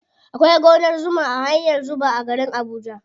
Akwai gonar zuma a hanyar zuba a garin abuja.